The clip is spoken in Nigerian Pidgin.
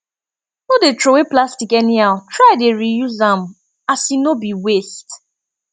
no dey throway plastic anyhow try dey reuse am as e no bi waste